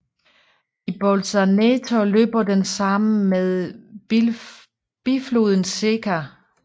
I Bolzaneto løber den sammen med bifloden Secca